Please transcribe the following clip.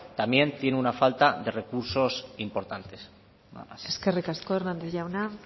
también tiene una falta de recursos importantes nada más eskerrik asko hernández jauna